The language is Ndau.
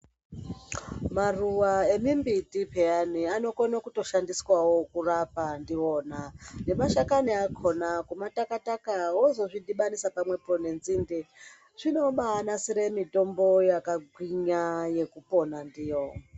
Maruwa emimbiti peyani anokona kutoshandiswawo kurapa ndiwo nemashakani akona kuma taka-taka vozo zvidhibanisa pamwepo nenzinde. Zvinobanasire mitombo yakagwinya yekupona ndiyo.